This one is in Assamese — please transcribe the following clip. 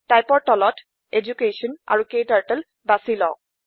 Typeৰ তলত এডুকেশ্যন আৰু ক্টাৰ্টল বাচি লওক